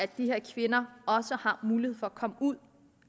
de her kvinder mulighed for at komme ud